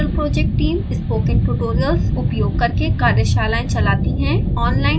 spoken tutorial project team: spoken tutorials उपयोग करके कार्यशालाएं चलाती है